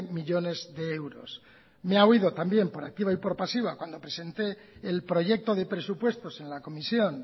millónes de euros me ha oído también por activa y por pasiva cuando presente el proyecto de presupuestos en la comisión